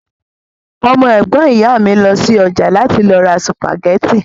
Ọmọ ẹ̀gbọ́n ìyá mi lọ sí ọjà láti lọ ra sùpàgẹ́tì